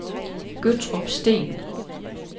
Gøttrup Sten